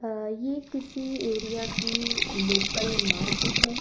ये किसी एरिया की लोकल मार्केट है।